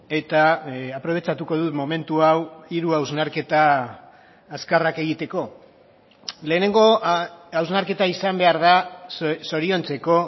eta aprobetxatuko dut momentu hau hiru hausnarketa azkarrak egiteko lehenengo hausnarketa izan behar da zoriontzeko